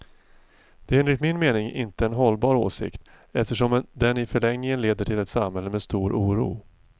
Det är enligt min mening inte en hållbar åsikt, eftersom den i förlängningen leder till ett samhälle med stor oro.